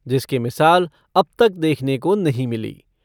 जिसकी मिसाल अब तक देखने को नहीं मिली।